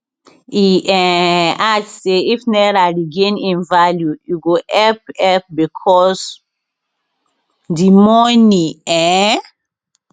e um add say if naira regain im value e go help help becos di money um